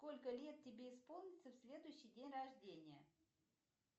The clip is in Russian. сколько лет тебе исполнится в следующий день рождения